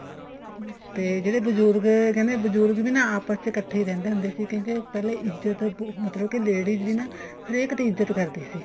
ਤੇ ਜਿਹੜੇ ਬਜੁਰਗ ਕਹਿੰਦੇ ਬਜੁਰਗ ਨਾ ਆਪਸ ਇੱਕਠੇ ਰਹਿੰਦੇ ਹੁੰਦੇ ਸੀ ਕਹਿੰਦੇ ਪਹਿਲਾਂ ਇੱਜਤ ਮਤਲਬ ਕੇ ladies ਦੀ ਨਾ ਹਰੇਕ ਦੀ ਇੱਜਤ ਕਰਦੇ ਸੀ